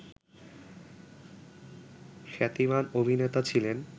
খ্যাতিমান অভিনেতা ছিলেন